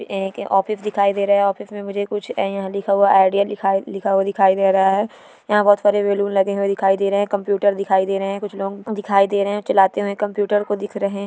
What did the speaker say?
ये एक ऑफिस दिखाई दे रहा है ऑफिस मे मुझे कुछ यहा लिखा हुआ आइडिया लिखा लिखा हुआ दिखाई दे रहा है यहा बहुत सारे बलून लगे हुए दिखाई दे रहे है कम्प्युटर दिखाई दे रहे है कुछ लोग दिखाई दे रहे है चलाते हुए कम्प्युटर को दिख रहे--